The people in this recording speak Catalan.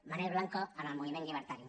manel blanco en el moviment llibertari